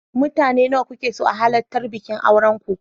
Mutane nawa kuke so a halartar bikin auren ku.